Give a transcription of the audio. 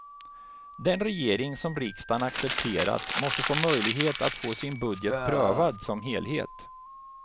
Den regering som riksdagen accepterat måste få möjlighet att få sin budget prövad som helhet.